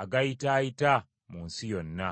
agayitaayita mu nsi yonna.”